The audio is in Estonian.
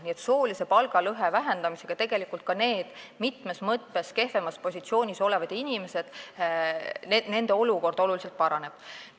Nii et soolise palgalõhe vähendamisega tegelikult ka nende mitmes mõttes kehvemas positsioonis olevate inimeste olukord oluliselt paraneb.